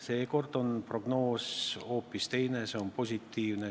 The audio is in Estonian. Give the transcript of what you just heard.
Seekord on prognoos hoopis teine: see on positiivne.